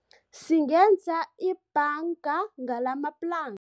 Singenza ibhanga ngalamaplan